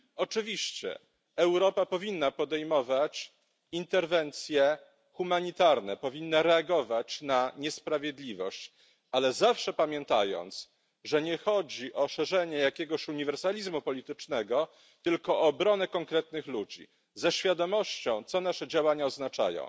Oczywiście Europa powinna podejmować interwencje humanitarne, powinna reagować na niesprawiedliwość, ale zawsze pamiętając, że nie chodzi o szerzenie jakiegoś uniwersalizmu politycznego, tylko obronę konkretnych ludzi ze świadomością co nasze działania oznaczają.